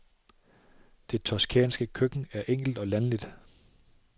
Det toscanske køkken er enkelt og landligt.